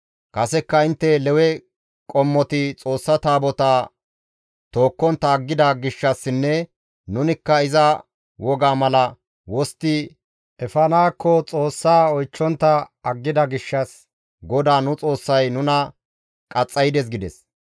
Kasekka intte Lewe qommoti Xoossa Taabotaa tookkontta aggida gishshassinne nunikka iza woga mala wostti efanaakko Xoossa oychchontta aggida gishshas GODAA nu Xoossay nuna qaxxaydes» gides.